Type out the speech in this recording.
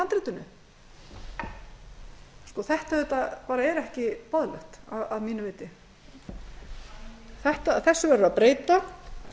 í handritinu þetta er auðvitað ekki boðlegt að mínu viti þessu verður að breyta